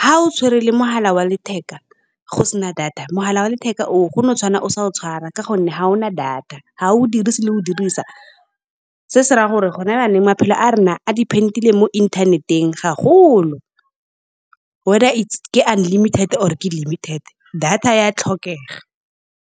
ga o tshwere le mogala wa letheka go sena data, mogala wa letheka oo, o tshwana o sa o tshwara. Ka gonne ga o na data ga o dirise le go o dirisa, se se ra ya gore go na jaonong maphelo a rona a depend-ile mo internet-eng gagolo wether ke unlimited or ke limited data ya tlhokega.